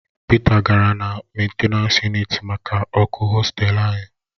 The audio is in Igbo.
Pita gara na mentenans yunịt maka ọkụ hostelu anyị